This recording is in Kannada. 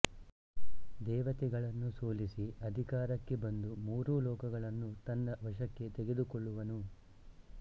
ದೇವತೆಗಳನ್ನು ಸೋಲಿಸಿ ಅಧಿಕಾರಕ್ಕೆ ಬಂದು ಮೂರೂ ಲೋಕಗಳನ್ನು ತನ್ನ ವಶಕ್ಕೆ ತೆಗೆದುಕೊಳ್ಳುವನು